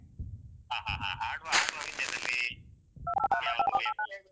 ಹ ಹ ಹ. ಆಡುವ ಆಡುವ ವಿಷಯದಲ್ಲಿ